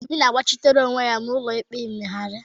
Obi na-agbachitere onwe ya n'ụlọikpe mkpegharị